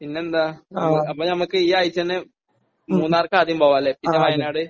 പിന്നെന്താണ്? അപ്പോൾ നമുക്ക് ഈ ആഴ്ച തന്നെ മൂന്നാറിലേക്ക് ആദ്യം പോവാം അല്ലെ. പിന്നെ വയനാട്.